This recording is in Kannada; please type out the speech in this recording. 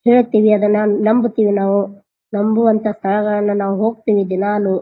ಹೇಳ್ಥಿವಿ ಅದನ್ನ ನಂಬ್ತೀವಿ ನಾವು ನಂಬುವಂಥ ಸ್ಥಳಗಳನ್ನು ನಾವು ಹೋಗತೀವಿ ದಿನಾಲೂ.